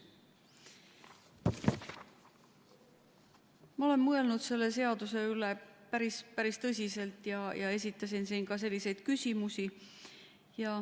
Ma olen mõelnud selle seaduse üle päris tõsiselt ja esitasin siin ka küsimusi.